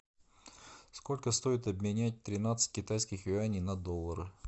сколько стоит обменять тринадцать китайских юаней на доллары